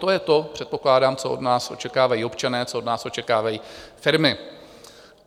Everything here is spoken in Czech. To je to, předpokládám, co od nás očekávají občané, co od nás očekávají firmy.